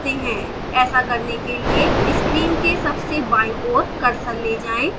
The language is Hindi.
ऐसा करने के लिए screen के सबसे बाईं ओर cursor ले जाएं